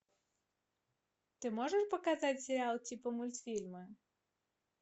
ты можешь показать сериал типа мультфильма